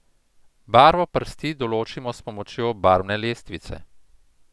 Barvo prsti določimo s pomočjo barvne lestvice.